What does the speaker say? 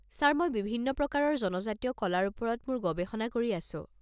Sir, মই বিভিন্ন প্ৰকাৰৰ জনজাতীয় কলাৰ ওপৰত মোৰ গৱেষণা কৰি আছো।